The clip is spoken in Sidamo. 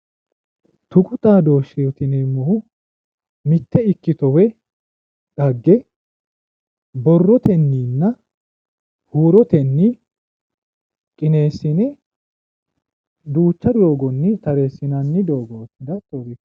tuqu xaadooshsheeti yineemmohu mitte ikkito woyi xagge borrotenninna huurotenni qineessine duucha doogonni tareesinanni doogooti.